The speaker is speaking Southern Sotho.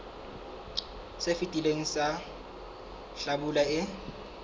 se fetileng sa hlabula e